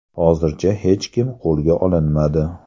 Hozircha hech kim qo‘lga olinmadi.